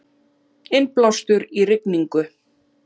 Innblástur í rigningu